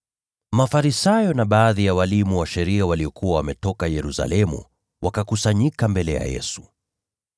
Mafarisayo na baadhi ya walimu wa sheria waliokuwa wametoka Yerusalemu wakakusanyika mbele ya Yesu.